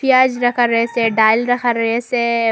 পেঁয়াজ রাখা রয়েসে ডাইল রাখা রয়েসে।